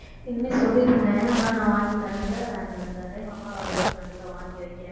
சொல்லியிருந்தேன் ஆனா நான் வாங்கித் தரலைல இந்த time அப்பா வரும்போது கண்டிப்பா வாங்கி வைக்கிறேன்